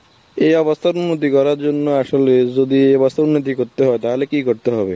এ অবস্থার মুদি করার জন্য আসলে যদি করতে হবে, তাহলে কি করতে হবে?